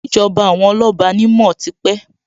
Ìjọba àwọn Ọláọba ni mo ó ti pé